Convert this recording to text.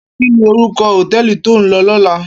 Kini órúkò hótèlí tó n lò lòlá?